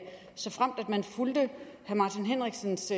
såfremt man fulgte herre martin henriksens